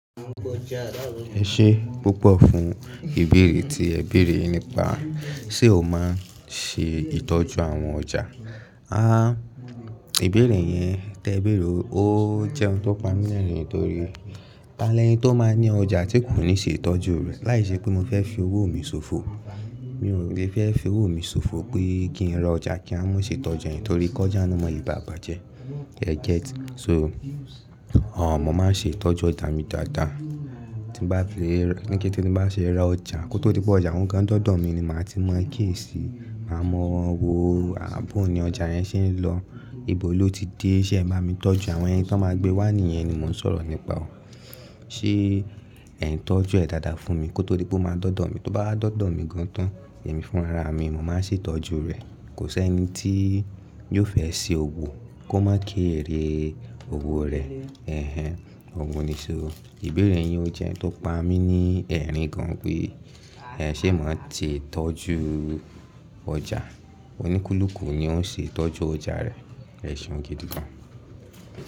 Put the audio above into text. Ẹ ṣe púpọ̀ fún ìbéèrè tí ẹ béèrè nípa ṣe ó máa ṣe ìtọ́jú àwọn ọjà. Àh, ìbéèrè yẹn tẹ béèrè ó jẹ́ ohun tó pa mí lẹ́rìn-ín torí tani eni tó máa ń ní ọjà tí kò ní ṣe ìtọ́jú rẹ̀. Láì ṣe pé mo fẹ́ fi owó mi ṣòfò. Mi ò le fẹ́ fi owó mi ṣòfò pé kí n ra ọjà kí n wa má ṣe itọ́jú rẹ̀ torí kọjá mi male bà bájẹ. Ee get? So, mo máa ń ṣe ìtọ́jú ọjà mi dáadáa. Tí n bá fi rẹ́, ní kété tí n bá ti ra ọjà, kó tó di pé ọjà wun gan de dọ̀dọ̀ mi ni màá ti mọ kiyesi Máa mọ̀ wòó, bòó ni ọjà yẹn ṣe ń lọ, ibo ló ti dé, ṣé ẹ m bami tọ́jú? Àwọn ẹni tí wọ́n máa gbé wá nìyẹn ni mò ń sọ̀rọ̀ nípa ó. Ṣé ẹ̀ ń tọ́jú ẹ̀ dáadáa fún mi? Kó tó di pé ó máa dọ̀dọ̀ mi. Tó bá wa dọ̀dọ̀ mi gan tán, èmi fún ara mi, mo máa ṣe ìtọ́jú rẹ̀. Kò sí ẹni tí yóò fẹ́ ṣe òwò kó má ké eré òwò rẹ̀. Ẹ̀hẹn. Òwun ni ṣo. Ìbéèrè yin ojẹ́ ohun tó pa mí ní ẹ̀rín gan pé ẹ ṣe máa ti tọ́jú ọjà. Oníkúlùkù ni ó ń ṣe ìtọ́jú ọjà rẹ. Ẹ̀ṣeun gidi gan.